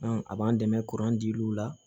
a b'an dɛmɛ kuran dil'u la